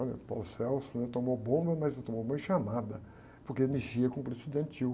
Olha, o, né? Tomou bomba, mas não tomou bomba em chamada, porque mexia com o política estudantil.